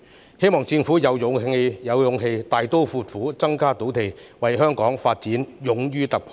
我希望政府能有勇氣大刀闊斧地增加土地供應，為香港的發展勇於突破。